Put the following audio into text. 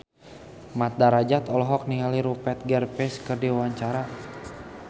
Mat Drajat olohok ningali Rupert Graves keur diwawancara